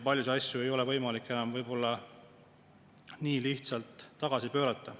Paljusid asju ei ole võimalik enam võib-olla nii lihtsalt tagasi pöörata.